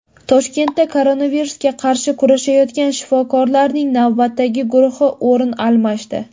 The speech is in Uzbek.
Toshkentda koronavirusga qarshi kurashayotgan shifokorlarning navbatdagi guruhi o‘rin almashdi.